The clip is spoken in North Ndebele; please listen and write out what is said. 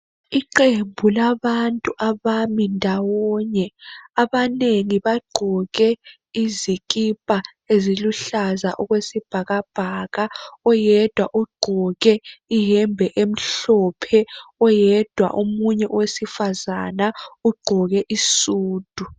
Iqembu labantu abami ndawonye abangengi bagqoke izikipa eziluhlaza okwesibhakabhaka, oyedwa ugqoke iyembe emhlophe. Oyedwa omunye owesifazana ugqoke isudu.